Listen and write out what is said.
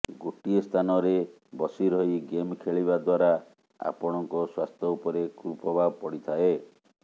ଗୋଟିଏ ସ୍ଥାନରେ ବସିରହି ଗେମ ଖେଳିବା ଦ୍ୱାରା ଆପଣଙ୍କ ସ୍ୱାସ୍ଥ୍ୟ ଉପରେ କୁପ୍ରଭାବ ପଡିଥାଏ